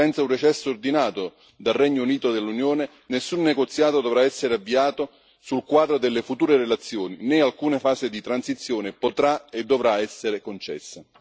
Senza un recesso ordinato dal Regno Unito dell'Unione, nessun negoziato dovrà essere avviato sul quadro delle future relazioni, né alcuna fase di transizione potrà e dovrà essere concessa.